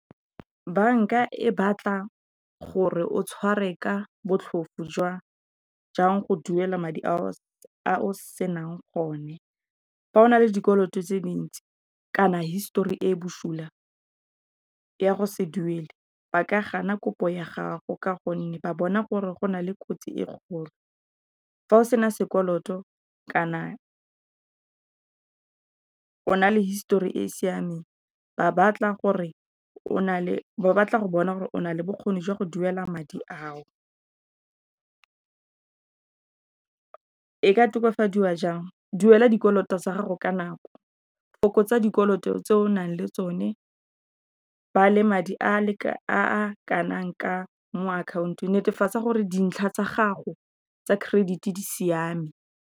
Bank-a e batla gore o tshware ka botlhofo jang go duela madi a o senang o ne. Fa o na le dikoloto tse dintsi kana, histori e busula ya go se duela ba ka gana kopo ya gago ka gonne ba bona gore go nale kotsi e kgolo. Fa o sena sekoloto kana o na le histori e e siameng, ba batla go bona gore o nale bokgoni jwa go duela madi a o. E ka tokafadiwa jang, duela dikoloto tsa gago ka nako go fokotsa dikoloto tse o nang le tsone, ba le madi a mo akhaontong netefatsa gore dintlha tsa gago tsa credit di siame.